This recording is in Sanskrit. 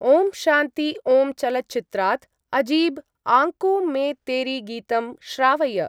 ओम् शान्ति ओम् चलच्चित्रात् अजीब् आंकों मे तेरी गीतं श्रावय।